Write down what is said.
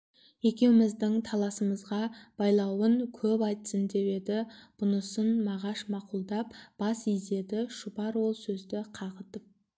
екеуміздің таласымызға байлауын көп айтсын деп еді бұнысын мағаш мақұлдап бас изеді шұбар ол сөзді қағытып